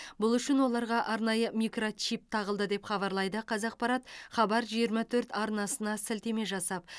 бұл үшін оларға арнайы микрочип тағылды деп хабарлайды қазақпарат хабар жиырма төрт арнасына сілтеме жасап